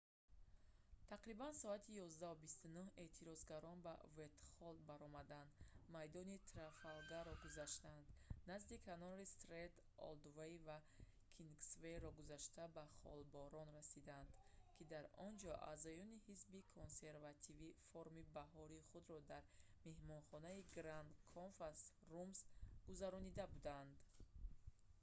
тақрибан соати 11:29 эътирозгарон ба вайтхолл баромаданд майдони трафалгаро гузаштанд назди канори стренд олдвей ва кингсвейро гузашта ба холборн расиданд ки дар онҷо аъзоёни ҳизби консервативӣ форуми баҳории худро дар меҳмонхонаи гранд конфас румс гузаронида буданд